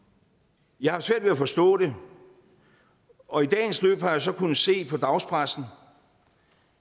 jeg har haft svært ved at forstå det og i dagens løb har jeg så kunnet se i dagspressen